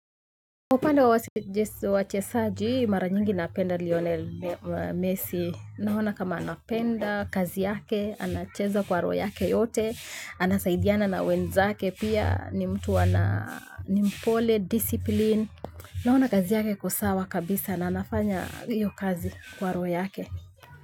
Upande wa wachezaji, mara nyingi napenda Lionel Messi. Naona kama anapenda, kazi yake, anacheza kwa roho yake yote, anasaidiana na wenzake, pia ni mtu ana ni mpole, discipline. Naona kazi yake iko sawa kabisa na anafanya iyo kazi kwa roho yake.